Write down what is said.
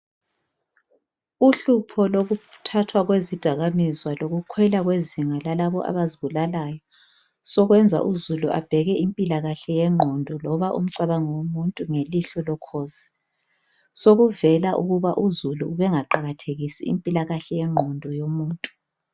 Uhlupho lokuthathwa kwezidakamizwa lokukhwela kwezinga lalabo abazibulalayo sokwenza uzulu abheke impilakahle yengqondo loba umcabango womuntu ngelihlo lokhozi sokuvela ukuba uzulu ubengaqakathekisi impilakahle yengqondo yomuntu.